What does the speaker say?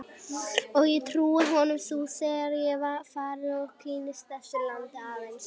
Og ég trúi honum nú þegar ég er farinn að kynnast þessu landi aðeins.